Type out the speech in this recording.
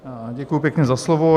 Děkuju pěkně za slovo.